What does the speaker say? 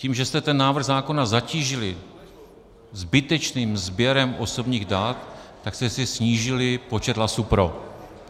Tím, že jste ten návrh zákona zatížili zbytečným sběrem osobních dat, tak jste si snížili počet hlasů pro.